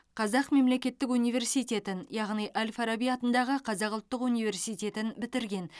қазақ мемлекеттік университетін яғни әл фараби атындағы қазақ ұлттық университетін бітірген